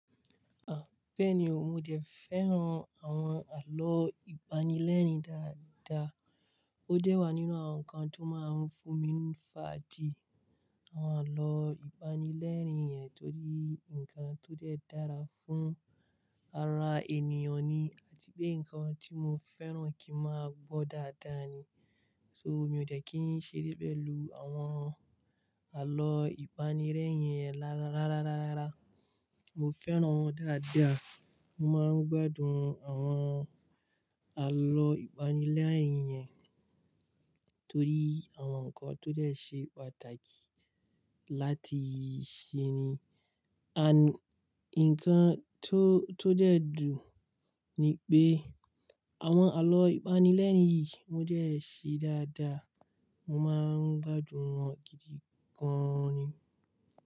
Ah, bẹ́ẹ̀ni o, mo dẹ̀ fẹ́ran àwọn àlọ́ ìpanilẹ́rin dáadáa. Ó dẹ́ wà nínú àwọn nǹkan tó máa ń fún mi ní fàájì. Àwọn àlọ́ ìpanilẹ́rin yẹn tó rí, nǹkan tó jẹ́ dára fún ara ènìyàn ni àti pé nǹkan tí mo fẹ́ran kí ń máa gbọ́ dáadáa ni. So, mi ò dẹ̀ kí ń ṣeré pẹ̀lú àwọn àlọ́ ìpanilẹ́rin yẹn rárá, rárá, rárá. Mo fẹ́ran wọ́n dáadáa. Mo máa ń gbádùn àwọn àlọ́ ìpanilẹ́rin yẹn torí àwọn nǹkan tó dẹ́ ṣe pàtàkì láti ṣe ni. Àń-- nǹkan tó, tó dẹ́ dùn ni pé àwọn àlọ́ ìpanilẹ́rin yìí mo dẹ́ ṣé dáadáa, mo máa ń gbádùn wọn gidi gan-an ni.